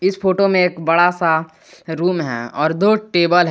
इस फोटो में एक बड़ा सा रूम है और दो टेबल है।